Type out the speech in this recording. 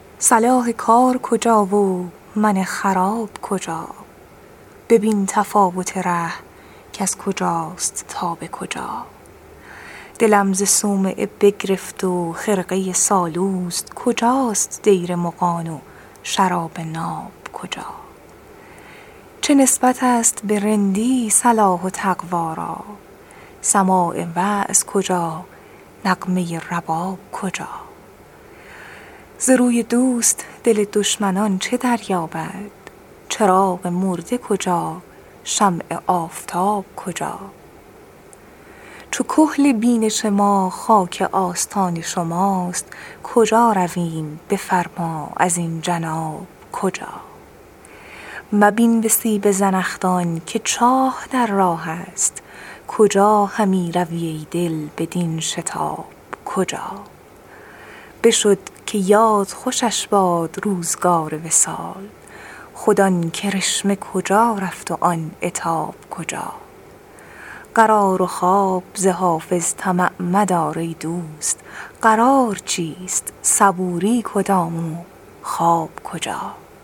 صلاح کار کجا و من خراب کجا ببین تفاوت ره کز کجاست تا به کجا دلم ز صومعه بگرفت و خرقه سالوس کجاست دیر مغان و شراب ناب کجا چه نسبت است به رندی صلاح و تقوا را سماع وعظ کجا نغمه رباب کجا ز روی دوست دل دشمنان چه دریابد چراغ مرده کجا شمع آفتاب کجا چو کحل بینش ما خاک آستان شماست کجا رویم بفرما ازین جناب کجا مبین به سیب زنخدان که چاه در راه است کجا همی روی ای دل بدین شتاب کجا بشد که یاد خوشش باد روزگار وصال خود آن کرشمه کجا رفت و آن عتاب کجا قرار و خواب ز حافظ طمع مدار ای دوست قرار چیست صبوری کدام و خواب کجا